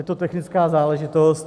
Je to technická záležitost.